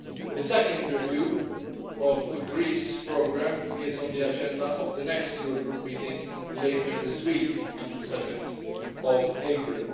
The second review of the Greece programme is on the agenda of the next Eurogroup meeting later this week on 7 April.